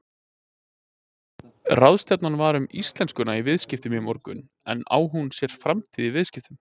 Ráðstefna var um íslenskuna í viðskiptum í morgun en á hún sér framtíð í viðskiptum?